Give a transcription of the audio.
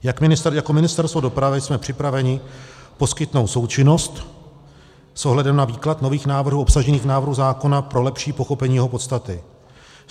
Jako Ministerstvo dopravy jsme připraveni poskytnout součinnost s ohledem na výklad nových návrhů obsažených v návrhu zákona pro lepší pochopení jeho podstaty.